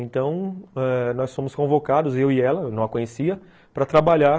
Então, ãh, nós fomos convocados, eu e ela, eu não a conhecia, para trabalhar